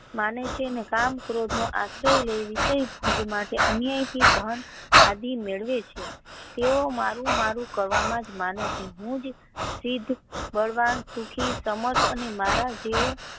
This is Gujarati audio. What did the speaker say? માનવ છે ને કામ ક્રોધ નો આશ્રય લઇ વિસય ભોગ માંથી અન્ય ધ્યાન આદિ મેળવે છે તેઓ મારુ મારુ કરવામાં જ મને છે હું જ સિદ્ધ બળવાન સુખી સમાજ મારા જેવો.